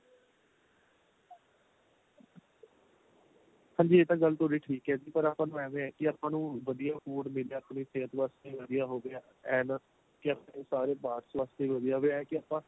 ਹਾਂਜੀ ਇਹ ਤਾਂ ਗੱਲ ਤੁਹਾਡੀ ਠੀਕ ਏ ਜੀ ਪਰ ਆਪਾਂ ਨੂੰ ਏਵੈ ਏ ਕੀ ਆਪਾਂ ਨੂੰ ਵਧੀਆ food ਮਿਲ ਜਾਏ ਆਪਣੇ ਸੇਹਤ ਵਾਸਤੇ ਵਧੀਆ ਹੋਵੇ and ਕੀ ਆਪਣੇ ਸਾਰੇ parts ਵਾਸਤੇ ਵੀ ਵਧੀਆ ਹੋਵੇ ਇਹ ਕੀ ਆਪਾਂ